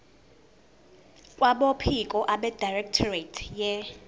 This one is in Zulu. kwabophiko abedirectorate ye